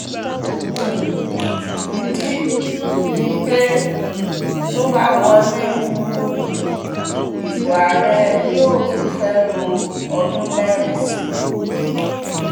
ìdí um ni pé tó bá wọlé um ìbò àárẹ̀ yóò tún fẹ́ẹ́ lo ọdún mẹ́rin sí i